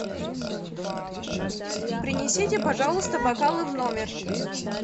принесите пожалуйста бокалы в номер